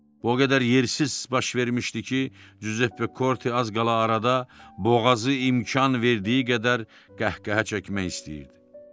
O qədər yersiz baş vermişdi ki, Cüzeppe Korte az qala arada boğazı imkan verdiyi qədər qəhqəhə çəkmək istəyirdi.